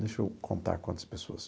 Deixa eu contar quantas pessoas.